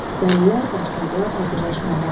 Dəlilər başladılar hazırlaşmağa.